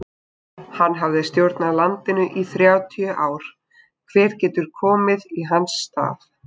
Hann hafði stjórnað landinu í þrjátíu ár, hver getur komið í hans stað?